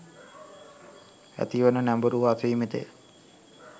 ඇතිවන නැඹුරුව අසීමිතය.